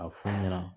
A f'u ɲɛna